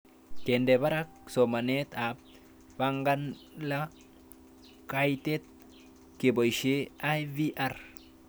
Kende parak somanet ab Bangala kaitet kepoishe IVR